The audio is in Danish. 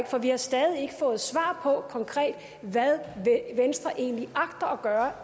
for vi har stadig ikke fået svar på hvad venstre egentlig agter